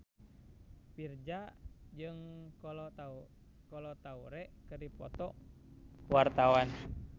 Virzha jeung Kolo Taure keur dipoto ku wartawan